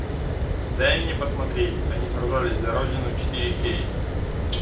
дай мне посмотреть они сражались за родину четыре кей